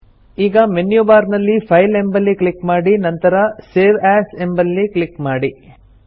ಈಗ menu bar ನಲ್ಲಿ file ಎಂಬಲ್ಲಿ ಕ್ಲಿಕ್ ಮಾಡಿ ನಂತರ ಸೇವ್ ಎಎಸ್ ಎಂಬಲ್ಲಿ ಕ್ಲಿಕ್ ಮಾಡಿ